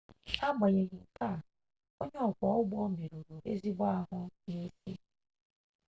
n'agbanyeghị nke a onye ọkwọ ụgbọ merụrụ ezigbo ahụ n'isi